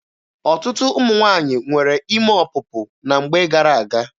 Ọtụtụ ụmụ nwaanyị nwere ime ọpụpụ na mgbe gara-aga.